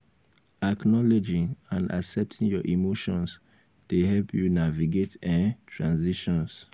acknowledging and accepting your emotions dey help you navigate um transitions. um